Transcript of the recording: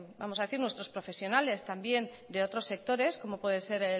vamos a decir nuestros profesionales también de otros sectores como puede ser